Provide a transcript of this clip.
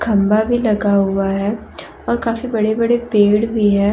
खम्बा भी लगा हुआ है और काफी बड़े बड़े पेड़ भी है।